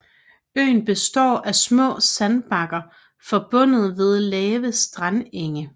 Øen består af små sandbakker forbundet ved lave strandenge